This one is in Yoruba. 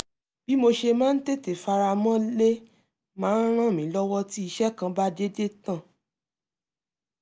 bí mo ṣe máa ń tètè faramọ́lé máa ń ràn mí lọ́wọ́ tí iṣẹ́ kan bá dédé tán